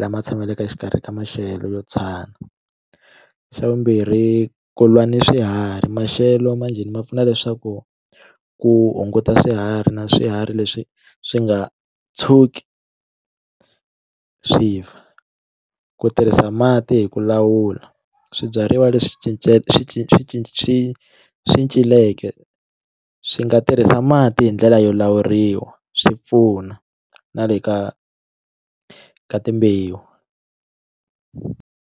lama tshamelaka exikarhi ka maxelo yo tsana xa vumbirhi ku lwa ni swiharhi maxelo manjheni ma pfuna leswaku ku hunguta swiharhi na swiharhi leswi swi nga tshuki swi fa ku tirhisa mati hi ku lawula swibyariwa leswi cinceke swi swi swi swi celeke swi nga tirhisa mati hi ndlela yo lawuriwa swi pfuna na le ka ka timbewu.